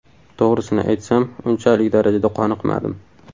To‘g‘risini aytsam, unchalik darajada qoniqmadim.